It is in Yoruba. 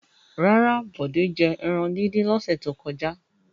Rárá, Bọ̀dé jẹ ẹran dídín lọ́sẹ̀ tó kọjá.